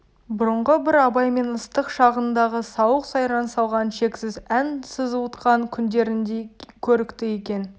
бұрынғы бір абаймен ыстық шағындағы сауық-сайран салған шексіз ән сызылтқан күндеріндей көрікті екен